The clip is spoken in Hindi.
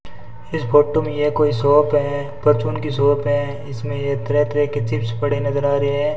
इस फोटो में यह कोई शॉप है परचून की शॉप हैं इसमें यह तरह तरह के चिप्स पड़े नजर आ रहे हैं।